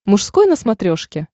мужской на смотрешке